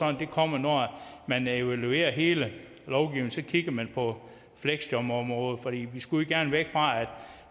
at det kommer når man evaluerer hele lovgivningen så kigger man på fleksjobområdet for vi skulle jo gerne væk fra at